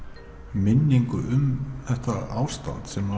minningu um þetta ástand sem